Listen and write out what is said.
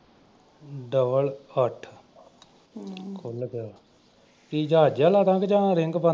double ਅੱਠ ਹਮ ਖੁੱਲ੍ਹ ਗਿਆ ਕੀ ਜਹਾਜ ਜਿਹਾ ਲਾਦਾਂ ਜਾਂ ਰਿੰਗ ਬੰਦ।